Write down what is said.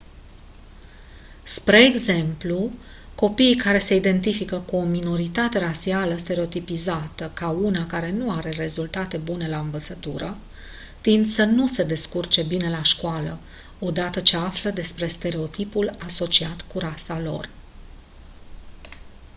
spre exemplu copiii care se identifică cu o minoritate rasială stereotipizată ca una care nu are rezultate bune la învățătură tind să nu se descurce bine la școală o dată ce află despre stereotipul asociat cu rasa lor